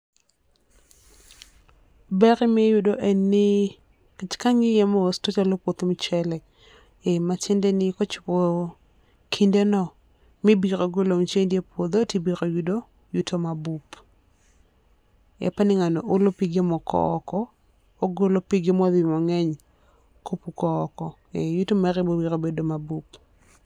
Ber mi iyudo en ni, nikech ka ang'iye mos to chal ni en puoth mchele e ma tiende ni ko chopo kinde no mi ibiro golo mchendi e puodho to ibiro yudo yuto ma bup. Apani ng'ano olo pige moko oko, ogolo pige ma odhi mang'eny ko puko oko e yuto mare biro bedo ma bup